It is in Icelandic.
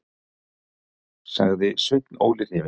sagði Sveinn Óli hrifinn.